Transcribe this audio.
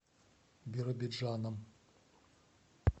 биробиджаном